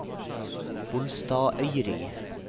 Bolstadøyri